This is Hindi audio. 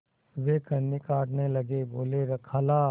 वे कन्नी काटने लगे बोलेखाला